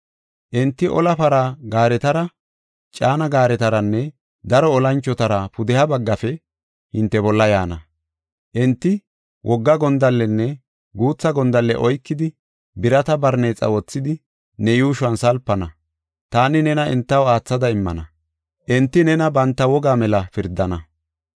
Enti ola para gaaretara, caana gaaretaranne daro olanchotara pudeha baggafe hinte bolla yaana. Enti wogga gondallenne guutha gondalle oykidi, birata barneexa wothidi, ne yuushuwan salpana. Taani nena entaw aathada immana; enti nena banta wogaa mela pirdana.